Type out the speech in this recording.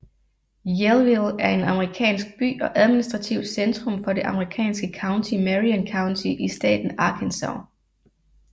Yellville er en amerikansk by og administrativt centrum for det amerikanske county Marion County i staten Arkansas